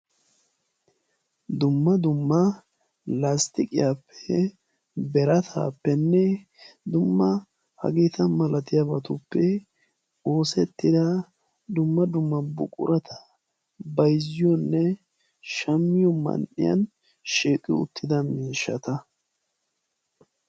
dumma dumma lastiqqiyape birataappe hageeta malatiyageetuppe oosetida miishshsata bayziyonne shamiyo man'iyan shiiqqi uttida miishshata.